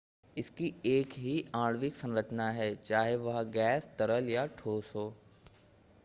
इसकी एक ही आणविक संरचना है चाहे वह गैस तरल या ठोस हो